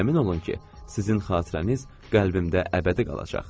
Əmin olun ki, sizin xatirəniz qəlbimdə əbədi qalacaq.